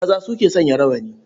Maza su ke sanya rawani.